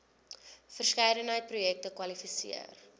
verskeidenheid projekte kwalifiseer